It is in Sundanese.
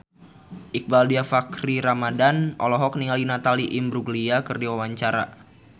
Iqbaal Dhiafakhri Ramadhan olohok ningali Natalie Imbruglia keur diwawancara